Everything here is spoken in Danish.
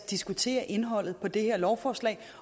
diskutere indholdet af det her lovforslag